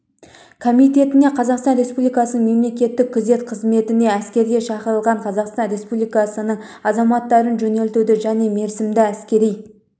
комитетіне қазақстан республикасының мемлекеттік күзет қызметіне әскерге шақырылған қазақстан республикасының азаматтарын жөнелтуді және мерзімді әскери